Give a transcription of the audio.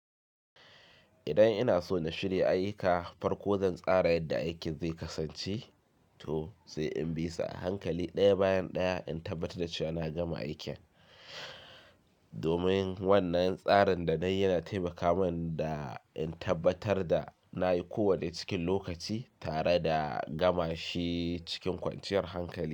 Idan ina so na shirya ayyuka farko zan tsara yadda aikin zai kasance to sai in bisa ankali ɗaya bayan ɗaya in tabbatar da cewa na gama aikin. Domin wannan tsarin da nai yana taimaka min da in tabbatar da na yi kowanne cikin lokaci tare da gama shi cikin kwanciyar hankali.